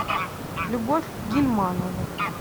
любовь гильманову